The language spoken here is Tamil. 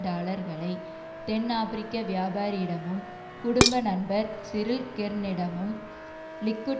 டாலர்களை தென்ஆபிரிக்க வியாபாரியிடமும் குடும்ப நண்பர் சிரில் கெர்னிடமும் லிக்குட்